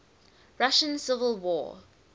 russian civil war